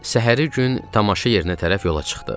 Səhəri gün tamaşa yerinə tərəf yola çıxdıq.